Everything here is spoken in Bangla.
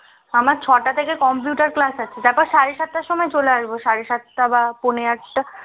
আমার ছটা থেকে computer class আছে তারপর সাড়ে সাতটার মধ্যে চলে আসবো সাড়ে সাতটা বা পোনে আটটা